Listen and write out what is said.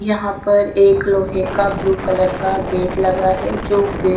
यहां पर एक लोके का ब्लू कलर का गेट लगा है जो गेट .